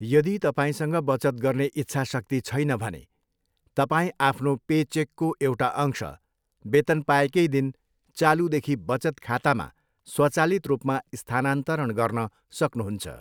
यदि तपाईँसँग बचत गर्ने इच्छाशक्ति छैन भने, तपाईँ आफ्नो पेचेकको एउटा अंश वेतन पाएकै दिन चालूदेखि बचत खातामा स्वचालित रूपमा स्थानान्तरण गर्न सक्नुहुन्छ।